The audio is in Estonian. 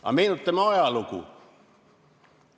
Aga meenutame ajalugu.